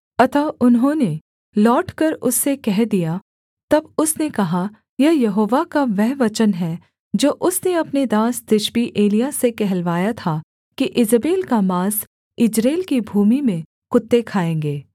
अतः उन्होंने लौटकर उससे कह दिया तब उसने कहा यह यहोवा का वह वचन है जो उसने अपने दास तिशबी एलिय्याह से कहलवाया था कि ईजेबेल का माँस यिज्रेल की भूमि में कुत्ते खाएँगे